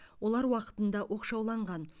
олар уақытында оқшауланған